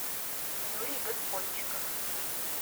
юрий господчиков